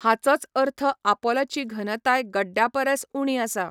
हाचोच अर्थ आपोलाची घनताय गड्ड्या परस उणी आसा.